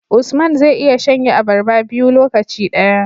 Usman zai iya shan ye abarba biyu lokaci daya